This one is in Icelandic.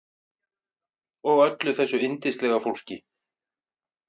Og öllu þessu yndislega fólki.